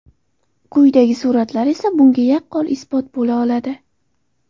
Quyidagi suratlar esa bunga yaqqol isbot bo‘la oladi.